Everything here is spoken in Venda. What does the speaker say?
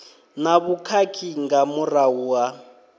na vhukhakhi nga murahu ha